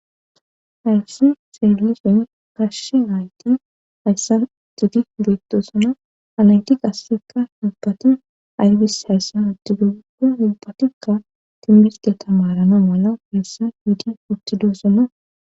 Hayssi xesllishen gashshi ayti hayssa tigi leettosana alantiq assekka hubbati arbis hayssa huddidogugo ubbatikka timirge tamarana mala keessa hiidi uttidoosona.